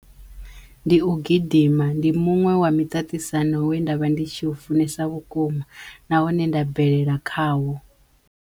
Ndi u gidima, ndi muṅwe wa miṱaṱisano we nda vha ndi tshi u funesa vhukuma na hone nda bvelela khawo.